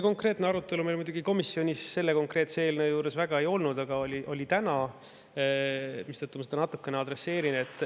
No seda arutelu meil komisjonis muidugi selle konkreetse eelnõu puhul väga ei olnud, aga oli täna, mistõttu ma seda natukene adresseerin.